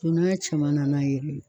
Don n'a caman na n'a ye